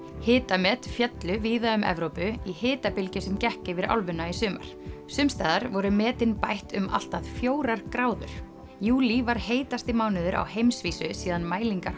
hitamet féllu víða um Evrópu í hitabylgju sem gekk yfir álfuna í sumar sums staðar voru metin bætt um allt að fjórar gráður júlí var heitasti mánuður á heimsvísu síðan mælingar